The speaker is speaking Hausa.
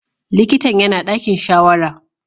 Likitan yana ɗakin shawara.